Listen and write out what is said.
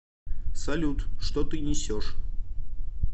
салют что ты несешь